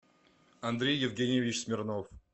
андрей евгеньевич смирнов